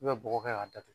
I bɛ bɔgɔ kɛ k'a datugu